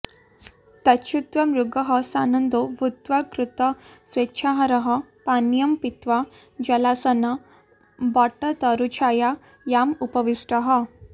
तच्छ्रुत्वा मृगः सानन्दो भूत्वा कृतस्वेच्छाहारः पानीयं पीत्वा जलासन्नवटतरुच्छायायामुपविष्टः